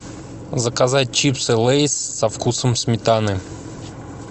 заказать чипсы лейс со вкусом сметаны